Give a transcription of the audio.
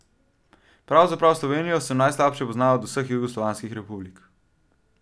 Pravzaprav, Slovenijo sem najslabše poznal od vseh jugoslovanskih republik.